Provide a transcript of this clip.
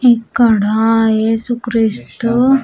ఇక్కడా యేసుక్రీస్తు.